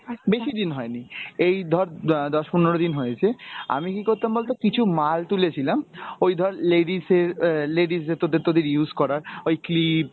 বেশি দিন হয় নি, এই ধর অ্যাঁ দশ পনেরো দিন হয়েছে আমি কী করতাম বলত কিছু মাল তুলেছিলাম ওই ধর ladies এর অ্যাঁ ladies এর তোদের তোদের use করার ওই clip